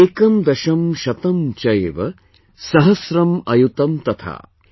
एकं दशं शतं चैव, सहस्रम् अयुतं तथा |